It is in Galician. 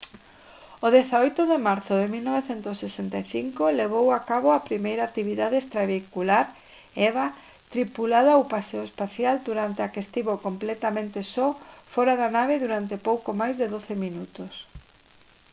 o 18 de marzo de 1965 levou a cabo a primeira actividade extravehicular eva tripulada ou paseo espacial durante a que estivo completamente só fóra da nave durante pouco máis de doce minutos